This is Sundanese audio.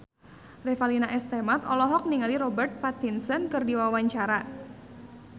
Revalina S. Temat olohok ningali Robert Pattinson keur diwawancara